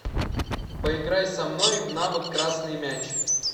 поиграй со мной в навык красный мяч